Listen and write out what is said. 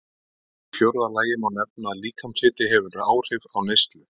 Í fjórða lagi má nefna að líkamshiti hefur áhrif á neyslu.